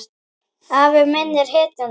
Afi minn er hetjan mín.